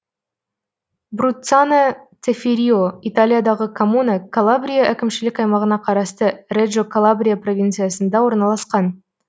бруццано цеффирио италиядағы коммуна калабрия әкімшілік аймағына қарасты реджо калабрия провинциясында орналасқан